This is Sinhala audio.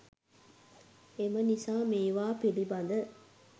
එම නිසා මේවා පිලිබඳ